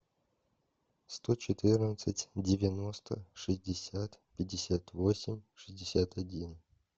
сто четырнадцать девяносто шестьдесят пятьдесят восемь шестьдесят один